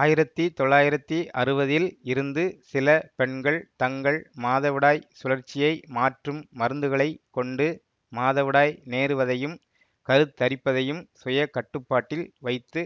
ஆயிரத்தி தொள்ளாயிரத்தி அறுவதில் இருந்து சில பெண்கள் தங்கள் மாதவிடாய் சுழற்சியை மாற்றும் மருந்துகளைக் கொண்டு மாதவிடாய் நேருவதையும் கருத்தரிப்பதையும் சுயகட்டுப்பாட்டில் வைத்து